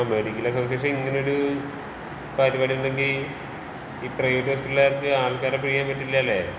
ആഹ് medical association ഇങ്ങനെ ഒരൂ പരുപാടി ഉണ്ടെങ്കീ ഈ പ്രൈവറ്റ് ഹോസ്പിറ്റലുകാർക്ക് ആൾക്കാരെ പിഴിയാന്‍ പറ്റില്ലല്ലേ?